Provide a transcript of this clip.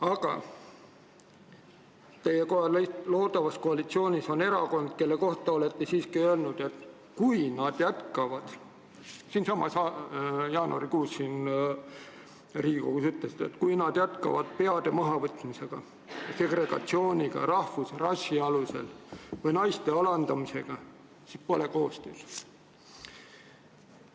Aga teie loodavas koalitsioonis on erakond, kelle kohta te olete öelnud – siinsamas Riigikogus jaanuarikuus ütlesite –, et kui nad jätkavad peade mahavõtmist, segregatsiooni rahvuse või rassi alusel või naiste alandamist, siis pole koostöö nendega võimalik.